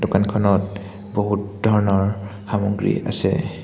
দোকানখনত বহুত ধৰনৰ সামগ্ৰী আছে।